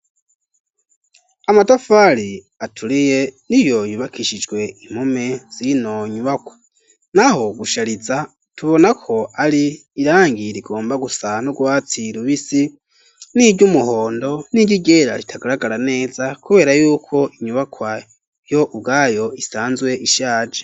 Amatafari aturiye n'iyo yubakishijwe impome zino nyubakwa naho gushariza tubonako ari irangi rigomba gusa no gusa nurwatsi rubisi niry'umuhondo iryera ritagaragara neza kubera yuko inyubakwa yo ubwayo isanzwe ishaje.